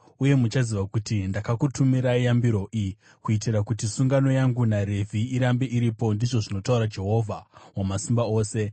Uye muchaziva kuti ndakakutumirai yambiro iyi kuitira kuti sungano yangu naRevhi irambe iripo,” ndizvo zvinotaura Jehovha Wamasimba Ose.